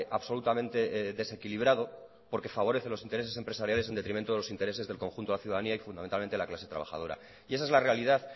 absolutamente desequilibrado porque favorece los intereses empresariales en detrimento de los intereses del conjunto de la ciudadanía y fundamentalmente la clase trabajadora y esa es la realidad